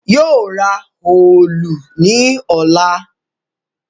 Yóò ra òòlù ní ọ̀la